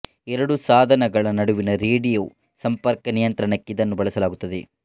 ಎರಡು ಸಾಧನಗಳ ನಡುವಿನ ರೇಡಿಯೋ ಸಂಪರ್ಕದ ನಿಯಂತ್ರಣಕ್ಕೆ ಇದನ್ನು ಬಳಸಲಾಗುತ್ತದೆ